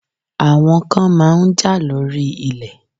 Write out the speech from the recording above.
Àwọn kan máa ń jà lórí ilẹ̀.